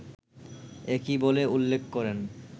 একই বলে উল্লেখ করেন